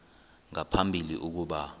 nga phambili ukuba